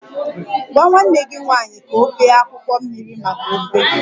Gwa nwanne gị nwanyị ka ọ bee akwụkwọ mmiri maka ofe